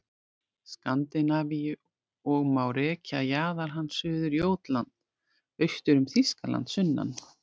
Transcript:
Skandinavíu og má rekja jaðar hans suður Jótland, austur um Þýskaland sunnan